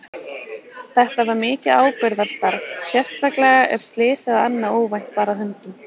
Þetta var mikið ábyrgðarstarf, sérstaklega ef slys eða annað óvænt bar að höndum.